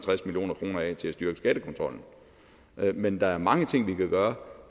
og af til at styrke skattekontrollen men der er mange ting vi kan gøre